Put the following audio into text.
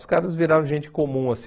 Os caras viraram gente comum, assim.